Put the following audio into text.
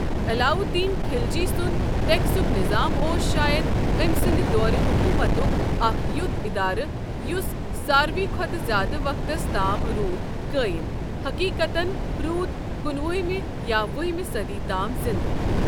علاؤالدین خلجی سُنٛد ٹیکسُک نِظام اوس شایَد أمۍ سٕنٛدِ دورِ حکوٗمتُک اکھ یُتھ اِدارٕ یُس ساروٕے کھۄتہٕ زِیٛادٕ وقتَس تام روٗد قٲیِم، حٔقیقَتَن روٗد کُنوُہمہِ یا وُہمہِ صٔدی تام زِنٛدٕ۔